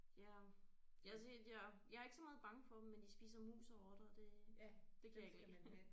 Ja jeg siger ja jeg er ikke så meget bange for dem men de spiser mus og rotter og det det kan jeg ikke lide